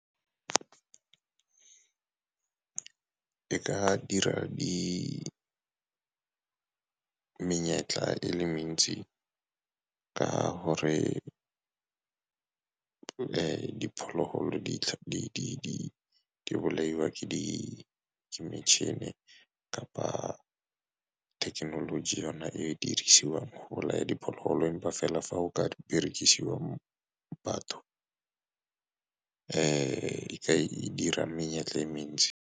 E ka dira menyetla e le mentsi ka gore diphologolo di bolaiwa ke metšhini kapa thekenoloji e e dirisiwang go bolaya diphologolo, empa fela fa go ka dirisiwa batho e ka dira menyetla e mentsi.